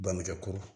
Bangekɛko